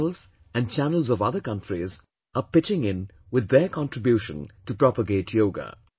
channels and channels of other countries are pitching in with their contribution to propagate Yoga